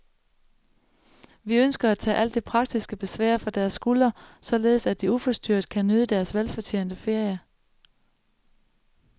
Vi ønsker at tage alt det praktiske besvær fra deres skuldre, således at de uforstyrret kan nyde deres velfortjente ferie.